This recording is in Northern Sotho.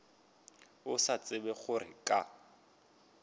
a sa tsebe gore ka